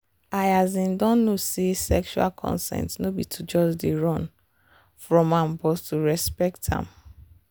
i um don know say sexual consent no be to just dey run from am but to respect am.